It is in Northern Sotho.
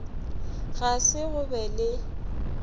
ga se go be le